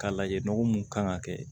K'a lajɛ nɔgɔ mun kan ka kɛ